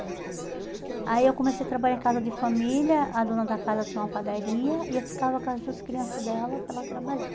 Aí eu comecei a trabalhar em casa de família, a dona da casa tinha uma padaria e eu ficava com as duas crianças dela para ela trabalhar.